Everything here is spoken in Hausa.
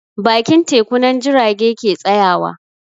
Bakin teku nan jirage ke tsayawa